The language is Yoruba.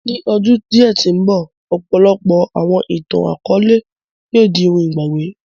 Ni ọ́dun diẹ̀ ti nbọ, ọ̀pọlọpọ̀ àwọn ìtan-àkọọlẹ yóò di óhun ìgbagbè